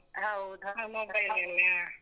ಹೌದ, ಹಾ mobile ಅಲ್ಲೇ, ಹಾ.